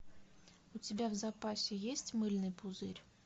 у тебя в запасе есть мыльный пузырь